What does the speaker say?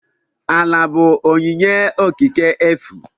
Ala bụ onyinye okike efu.